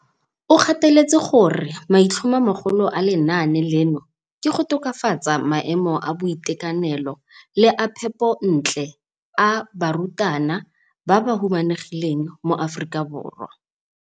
O gateletse gore maitlhomomagolo a lenaane leno ke go tokafatsa maemo a boitekanelo le a phepontle a barutwana ba ba humanegileng mo Aforika Borwa.